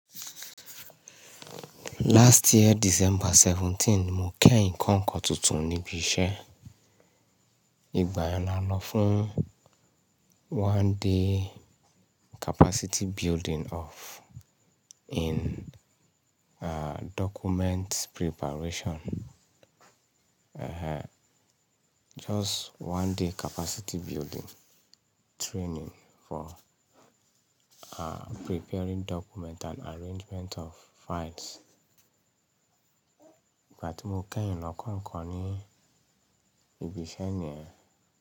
Last year December seventeen ni mo kẹ́yìn kọ́ nkan tuntun ní ibi iṣẹ́. Ìgbà yẹn a lọ fún one day capacity building of in, uh, document preparation. Ehn, just one day capacity building training for, uh, preparing document and arrangement of files. Ìgbà tí mo kẹ́yìn lọ kọ́kọ́ ni ibi iṣẹ́ niyẹn.